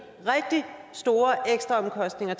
rigtig store ekstraomkostninger